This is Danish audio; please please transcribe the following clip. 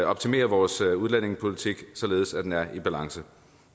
optimere vores udlændingepolitik således at den er i balance